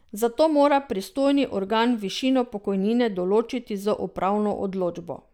Zato mora pristojni organ višino pokojnine določiti z upravno odločbo.